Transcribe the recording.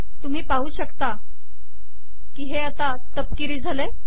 तुम्ही पाहू शकता की ते तपकिरी झाले